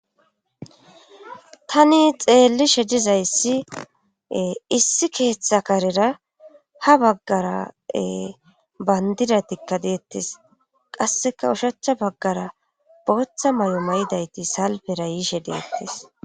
tani xeellishe dizayssi issi keeththa karera ha baggara bayndidatikka deettis qasseka ushachcha baggara booththa mayo mayidayti salpera yiishe deettes